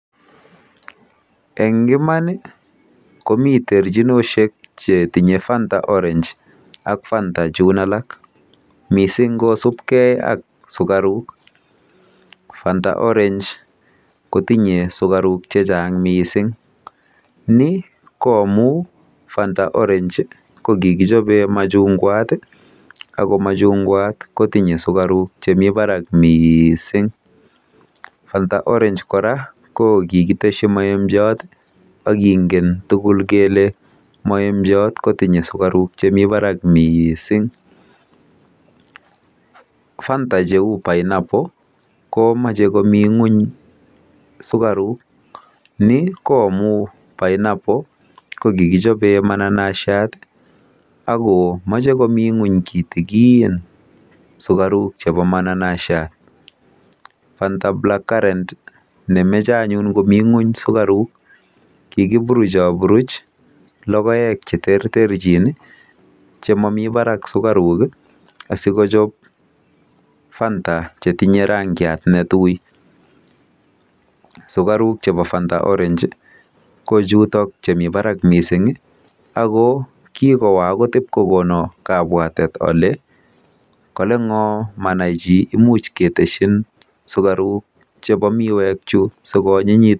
Eng iman komi terchinoshek chetinye Fanta Orange ak Fanta chun alak mising kosubkei ak sukaruk. Fanta Orange kotinye sukaruk chechang mising. Ni koomu fanta Orange kokikichobe machungwat ako machungwat kotinye sukaruk chemi barak mising.